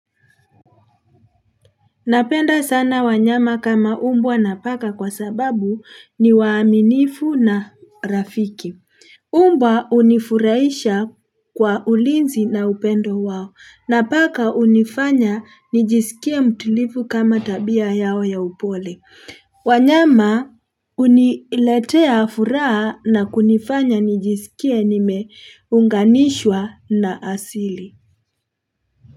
Napenda sana wanyama kama mbwa na paka kwa sababu ni waaminifu na rafiki. Mbwa hunifuraisha kwa ulinzi na upendo wao. Na paka hunifanya nijisikie mtulivu kama tabia yao ya upole. Wanyama huniletea furaha na kunifanya nijisikie nimeunganishwa na asili.